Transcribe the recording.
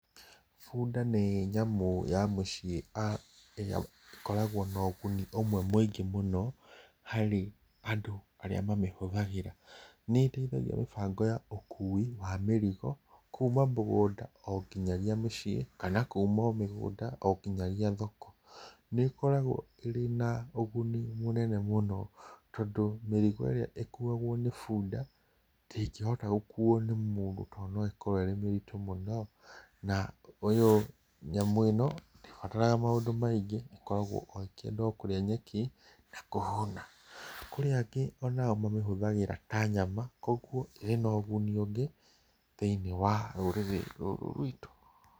Bũnda nĩ nyamũ ya mũciĩ ĩrĩa ĩkoragwo na ũguni ũmwe mũingĩ mũno, harĩ andũ arĩa mamĩhũthagira, nĩ ĩteithagia harĩ mĩbango ya ũkũi wa mĩrigo kuma mũgũnda oginya mũciĩ, kana kuma o mĩgũnda oginyagia thoko, nĩ ĩkoragwo ĩna ũgũni mũnene mũno, tondũ mĩrigo ĩrĩa ĩkũagwo nĩ bũnda ndĩgĩhota gũkũo nĩ mũndũ to no ĩkorwo ĩ mĩritũ mũno na ũyũ, nyamũ ĩno ndĩbataraga maũndũ maingĩ ĩkoragwo o ĩkenda kũrĩa nyeki na kũhũna. Kũrĩ angĩ mamĩhũthagĩra ta nyama kogwo ĩrĩ na ũgũni ũngi thĩini wa rũrĩrĩ rwitũ.